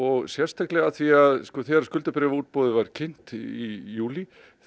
sérstaklega af því að þegar skuldabréfaútboð var kynnt í júlí